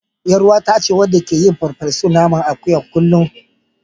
Ƴaruwata ce wadda take yin farfesun naman akuyan kullum.